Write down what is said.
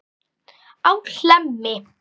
á Hlemmi.